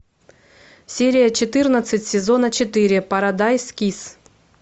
серия четырнадцать сезона четыре парадайз кисс